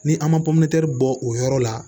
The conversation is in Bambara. Ni an ma bɔ o yɔrɔ la